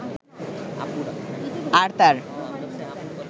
আর তার